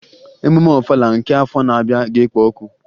Emume Ọfala nke afọ na-abịa ga-ekpo ọkụ